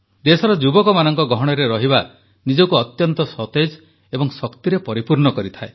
ଦେଶର ଯୁବକମାନଙ୍କ ଗହଣରେ ରହିବା ନିଜକୁ ଅତ୍ୟନ୍ତ ସତେଜ ଏବଂ ଶକ୍ତିରେ ପରିପୂର୍ଣ୍ଣ କରିଥାଏ